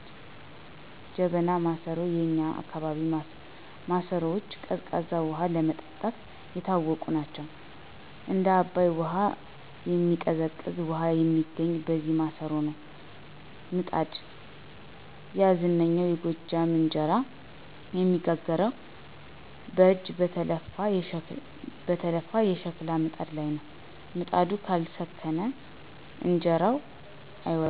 ጀበናና ማሰሮ፦ የእኛ አካባቢ ማሰሮዎች ቀዝቃዛ ውሃ ለመጠጣት የታወቁ ናቸው። "እንደ አባይ ውሃ የሚቀዘቅዝ" ውሃ የሚገኘው በነዚህ ማሰሮዎች ነው። ምጣድ፦ ያ ዝነኛው የጎጃም እንጀራ የሚጋገረው በእጅ በተለፋ የሸክላ ምጣድ ላይ ነው። "ምጣዱ ካልሰከነ እንጀራው አይወጣም" ይባላል።